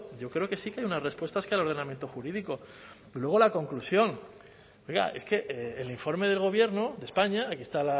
yo creo que sí que hay unas respuestas que ordenamiento jurídico pero luego la conclusión oiga es que el informe del gobierno de españa aquí está